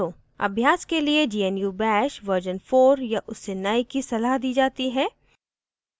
अभ्यास के लिए gnu bash version 4 या उससे नए की सलाह दी जाती है